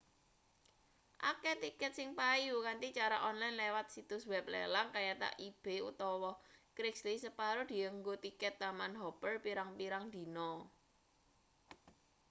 akeh tiket sing payu kanthi cara onlen liwat situs web lelang kayata ebay utawa craigslist separo dienggo tiket taman-hopper pirang-pirang dina